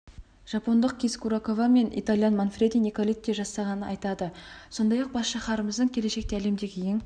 жапондық кис курокава мен итальян манфреди николетти жасағанын айтады сондай-ақ бас шаһарымыздың келешекте әлемдегі ең